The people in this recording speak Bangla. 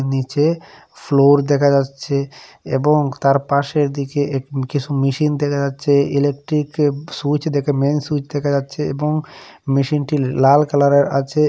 নীচে ফ্লোর দেখা যাচ্ছে এবং তার পাশের দিকে এক কিছু মেশিন দেখা যাচ্ছে ইলেকট্রিকে র সুইচ মেইন সুইচ দেখা যাচ্ছে এবং মেশিন টি লাল কালারের আছে।